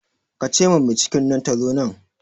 Ke ce ma mai cikin nan ta zo nan